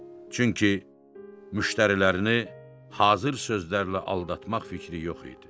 Çünki müştərilərini hazır sözlərlə aldatmaq fikri yox idi.